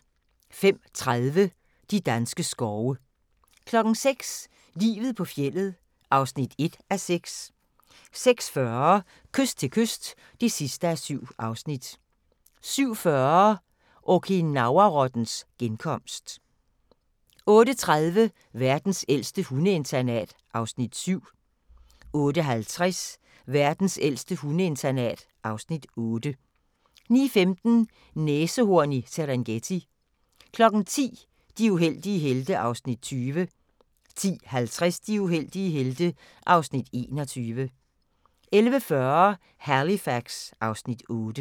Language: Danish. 05:30: De danske skove 06:00: Liv på fjeldet (1:6) 06:40: Kyst til kyst (7:7) 07:40: Okinawa-rottens genkomst 08:30: Verdens ældste hundeinternat (Afs. 7) 08:50: Verdens ældste hundeinternat (Afs. 8) 09:15: Næsehorn i Serengeti 10:00: De uheldige helte (Afs. 20) 10:50: De uheldige helte (Afs. 21) 11:40: Halifax (Afs. 8)